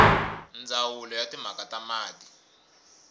ndzawulo ya timhaka ta mati